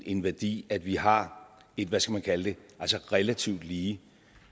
en værdi at vi har et hvad skal man kalde det relativt lige